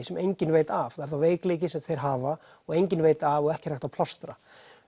sem engin veit af það er þá veikleiki sem þeir hafa og engin veit af og ekki er hægt að plástra